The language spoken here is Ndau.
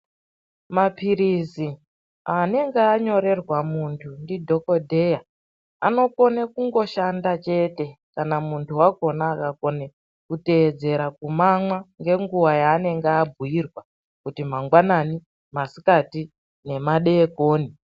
Mapirizi anonga anyorerwa munthu ngemadhokodheya anokona kushanda ndookunge munthu ateedzera zvaakabhuyirwa pamamwiro akona.